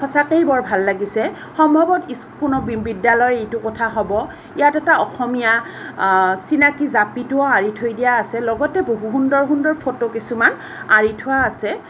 চাতেই বৰ ভাল লাগিছে সম্ভৱত ইস্কুনৰ বি বিদ্যালয়ৰ ইটো কথা হ'ব ইয়াত এটা অসমীয়া আ চিনাকী জাপিটো আঁৰি থৈ দিয়া আছে লগতে বহু সুন্দৰ সুন্দৰ ফটো কিছুমান আঁৰি থোৱা আছে।